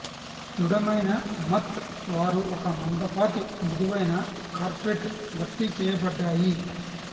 దృఢమైన మత్ వారు ఒక మందపాటి మృదువైన కార్పెట్ భర్తీ చేయబడ్డాయి